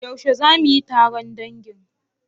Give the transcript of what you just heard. Yaushe za mu yi taron dangi?